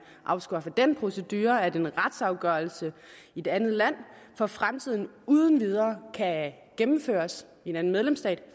afskaffer den procedure at en retsafgørelse i et andet land for fremtiden uden videre kan gennemføres i en anden medlemsstat